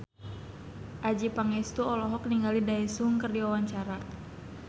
Adjie Pangestu olohok ningali Daesung keur diwawancara